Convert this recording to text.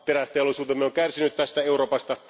Terästeollisuutemme on kärsinyt tästä Euroopassa.